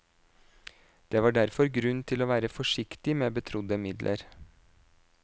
Det var derfor grunn til å være forsiktig med betrodde midler.